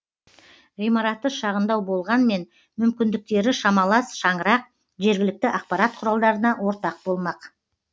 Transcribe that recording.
ғимараты шағындау болғанмен мүмкіндіктері шамалас шаңырақ жергілікті ақпарат құралдарына ортақ болмақ